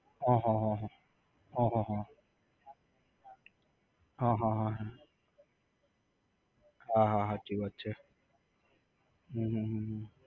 હ હ હ હ. હ હ હ હ હ હ. હા હા હાચી વાત છે. હમ હમ હમ હમ